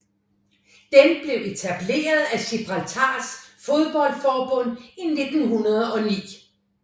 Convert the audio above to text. Den blev etableret af Gibraltars fodboldforbund i 1909